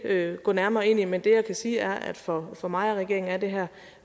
ikke gå nærmere ind i men det jeg kan sige er at for for mig og regeringen er det her